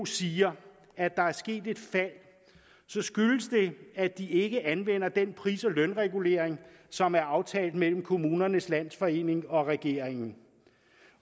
siger at der er sket et fald så skyldes det at de ikke anvender den pris og lønregulering som er aftalt mellem kommunernes landsforening og regeringen